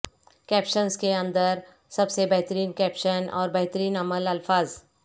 captions کے اندر سب سے بہترین کیپشن اور بہترین عمل الفاظ